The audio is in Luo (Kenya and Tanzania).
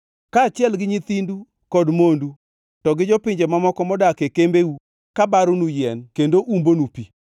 kaachiel gi nyithindu kod mondu, to gi jopinje mamoko modak e kembeu kabaronu yien kendo umbonu pi.